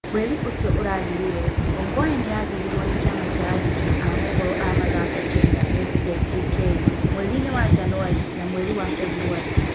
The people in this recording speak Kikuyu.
Mweri ũcio ũrathirire, Ongwae nĩ athuurirwo nĩ kĩama kĩa aandĩki a moohoro a mathako Kenya (SJAK) mweri inĩ wa Janwarĩ na mweri wa beburwarĩ.